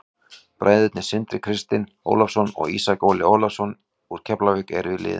Bræðurnir Sindri Kristinn Ólafsson og Ísak Óli Ólafsson úr Keflavík eru í liðinu.